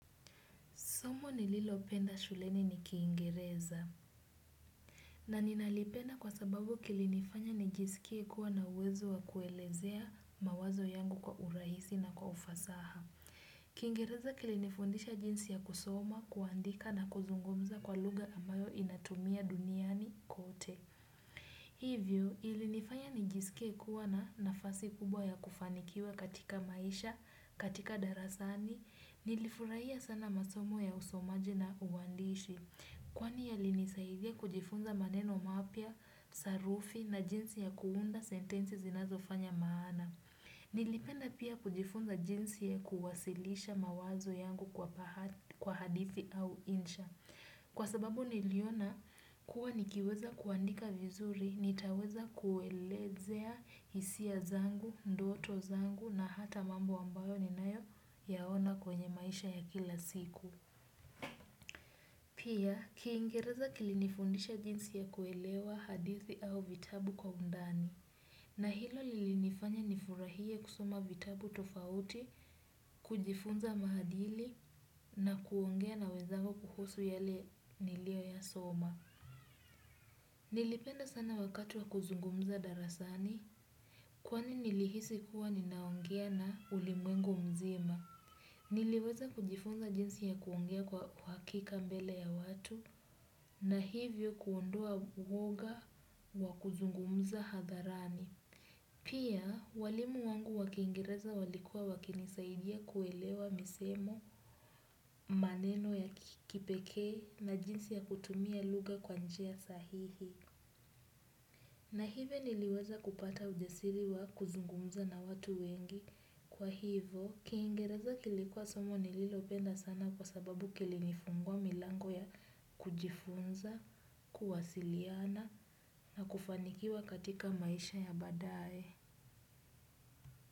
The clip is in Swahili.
Somo nililopenda shuleni ni kiingereza. Na ninalipenda kwa sababu kilinifanya nijiskie kuwa na uwezo wa kuelezea mawazo yangu kwa urahisi na kwa ufasaha. Kiingereza kilinifundisha jinsi ya kusoma, kuandika na kuzungumza kwa lugha ambayo inatumia duniani kote. Hivyo ilinifanya nijiskie kuwa na nafasi kubwa ya kufanikiwa katika maisha, katika darasani. Nilifurahia sana masomo ya usomaji na uandishi kwani yali nisaidia kujifunza maneno mapia, sarufi na jinsi ya kuunda sentensi zinazo fanya maana. Nilipenda pia kujifunza jinsi ya kuwasilisha mawazo yangu kwa hadithi au insha. Kwa sababu niliona kuwa nikiweza kuandika vizuri, nitaweza kuelezea hisia zangu, ndoto zangu na hata mambo ambayo ni nayo yaona kwenye maisha ya kila siku. Pia, kiingereza kilinifundisha jinsi ya kuelewa hadithi au vitabu kwa undani. Na hilo lilinifanya nifurahie kusoma vitabu tofauti, kujifunza maadili na kuongea na wezangu kuhusu yale nilio ya soma. Nilipenda sana wakati wa kuzungumza darasani kwani nilihisi kuwa ninaongea na ulimwengu mzima. Niliweza kujifunza jinsi ya kuongea kwa hakika mbele ya watu na hivyo kuondoa uwoga wa kuzungumza hadharani. Pia, walimu wangu wakiingereza walikua wakinisaidia kuelewa misemo, maneno ya kipekee na jinsi ya kutumia lugha kwanjia sahihi. Na hivyo niliweza kupata ujasiri wa kuzungumza na watu wengi. Kwa hivyo, kiingereza kilikuwa somo nililopenda sana kwa sababu kilinifungua milango ya kujifunza, kuwasiliana na kufanikiwa katika maisha ya baadae.